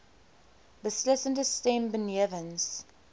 beslissende stem benewens